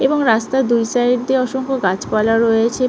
এবং রাস্তার দুই সাইড দিয়ে অসংখ্য গাছপালা রয়েছে।